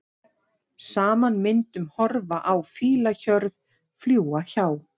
Saman myndum horfa á fílahjörð, fljúga hjá.